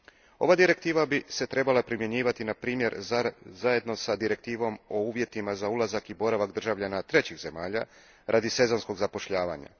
Ova bi se direktiva trebala primjenjivati na primjer, zajedno s direktivom o uvjetima za ulazak i boravak državljana trećih zemalja radi sezonskog zapošljavanja.